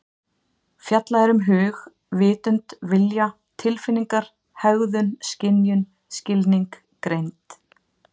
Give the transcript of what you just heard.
Fjallað er um hug, vitund, vilja, tilfinningar, hegðun, skynjun, skilning, greind.